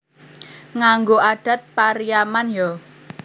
Nganggo adat Pariaman yo?